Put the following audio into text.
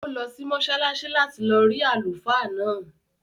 Ó lọ sí mọ́sálásí láti lọ rí àlùfáà náà